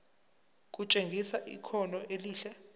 kutshengisa ikhono elihle